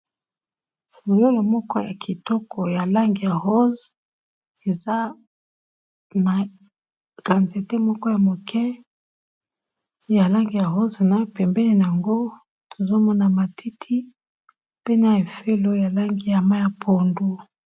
Fololo moko ya kitoko ya langi ya rose eza na quantite moko ya moke, ya langi ya rose na pembeni nango tozo mona matiti pe na efelo ya langi ya mayi ya pondu.